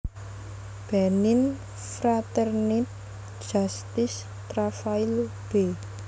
Benin Fraternité Justice Travail b